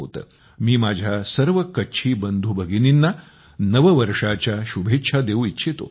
मी माझ्या सर्व कच्छी बंधूभगिनींना नववर्षाच्या शुभेच्छा देऊ इच्छितो